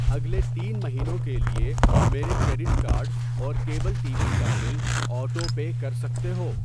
اگلے تین مہینوں کے لیے میرے کریڈٹ کارڈ اور کیبل ٹی وی کا بل آٹو پے کر سکتے ہو؟